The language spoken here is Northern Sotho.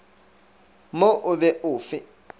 mo o be o fe